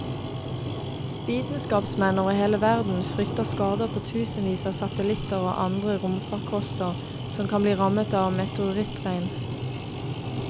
Vitenskapsmenn over hele verden frykter skader på tusenvis av satellitter og andre romfarkoster som kan bli rammet av meteorittregnet.